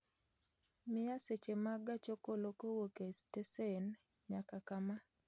Miya seche mag gach okolo kowuok e stesen nyaka kama